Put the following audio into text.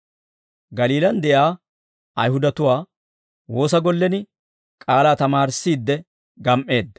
Galiilaan de'iyaa Ayihudatuwaa woosa gollen K'aalaa tamaarissiidde gam"eedda.